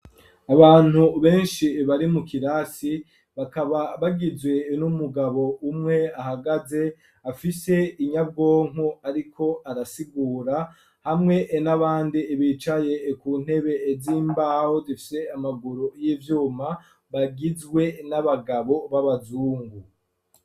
Abantu benshi bari mu kirasi bakaba bagizwe n'umugabo umwe ahagaze, afise inyabwonko ariko arasigura, hamwe n'abandi bicaye ku ntebe z'imbaho zifite amaguru y'ivyuma bagizwe n'abagabo b'abazungu.